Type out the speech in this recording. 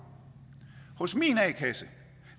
hos min a kasse